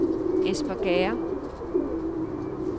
Espergærde